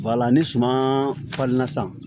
ni suman falenna sisan